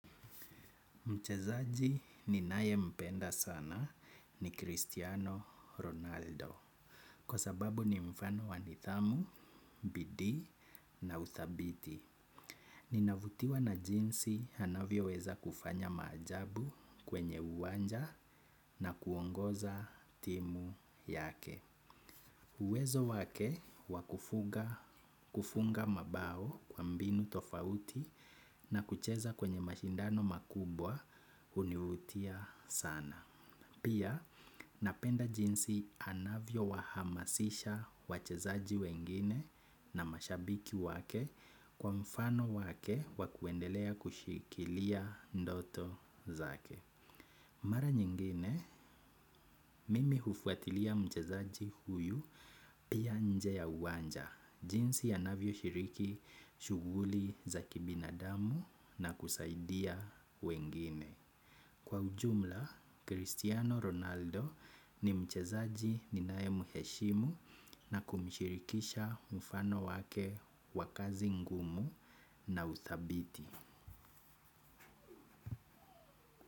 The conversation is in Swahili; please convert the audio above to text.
Mchezaji ninaye mpenda sana ni Cristiano Ronaldo kwa sababu ni mfano wa nidhamu, bidii na uthabiti. Ninavutiwa na jinsi anavyoweza kufanya maajabu kwenye uwanja na kuongoza timu yake. Uwezo wake wakufunga mabao kwa mbinu tofauti na kucheza kwenye mashindano makubwa univutia sana. Pia napenda jinsi anavyo wahamasisha wachezaji wengine na mashabiki wake kwa mfano wake wa kuendelea kushikilia ndoto zake. Mara nyingine, mimi hufuatilia mchezaji huyu pia nje ya uwanja, jinsi anavyo shiriki shuguli za kibinadamu na kusaidia wengine. Kwa ujumla, Cristiano Ronaldo ni mchezaji ninae muheshimu na kumshirikisha mfano wake wakazi ngumu na uthabiti.